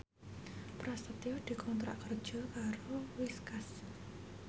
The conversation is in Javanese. Prasetyo dikontrak kerja karo Whiskas